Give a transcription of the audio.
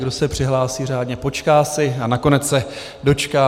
Kdo se přihlásí řádně, počká si a nakonec se dočká.